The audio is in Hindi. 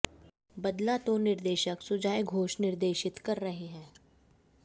बदला को निर्देशक सुजॉय घोष निर्देशित कर रहे है